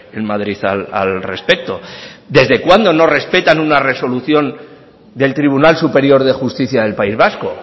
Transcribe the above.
en madrid al respecto desde cuándo no respetan una resolución del tribunal superior de justicia del país vasco